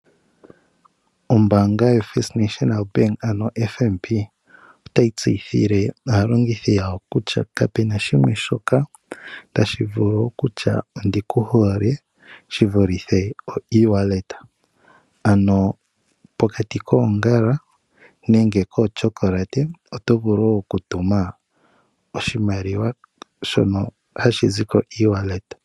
Ombaanga yoFirst National Bank, ano FNB otayi tseyithile aalongithi yawo kutya kapu na shimwe shoka tashi vulu okutya ondi ku hole shi vulithe okutuma oshimaliwa kongodhi, ano pokati koongala nenge koochocolate, oto vulu okutuma oshimaliwa to longitha ongodhi yoye yopeke.